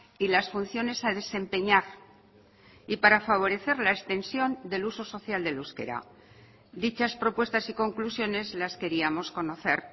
y las funciones a desempeñar y para favorecer la extensión del uso social del euskera dichas propuestas y conclusiones las queríamos conocer